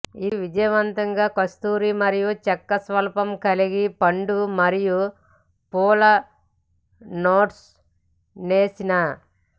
ఇది విజయవంతంగా కస్తూరి మరియు చెక్క స్వల్ప కలిపి పండు మరియు పూల నోట్స్ నేసిన